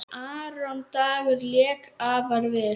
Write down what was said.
Aron Dagur lék afar vel.